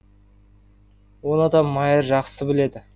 оны да майыр жақсы біледі